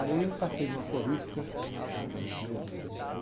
Aí eu passei numa florista, japonesinha, que eu já conhecia.